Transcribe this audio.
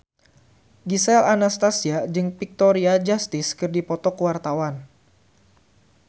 Gisel Anastasia jeung Victoria Justice keur dipoto ku wartawan